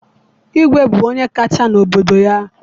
Igwe bụ onye kacha n'obodo ya